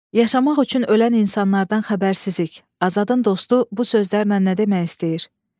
Yaşamaq üçün ölən insanlardan xəbərsizlik, Azadın dostu bu sözlərlə nədəmək istəyir?